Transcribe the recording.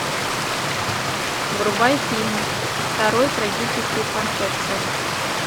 врубай фильм второй трагический фантоцци